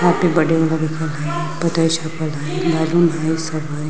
यहाँ पे बर्थदे वला लिखल हइ बर्थडे छपल हइ बैलून हइ सब हइ।